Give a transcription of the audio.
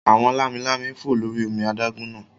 Àwọn lámi-lámi ń fò lórí omi adágún náà